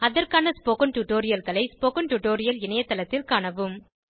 அதற்கான ஸ்போகன் டுடோரியல்களை spoken tutorial இணையத்தளத்தில் காணவும்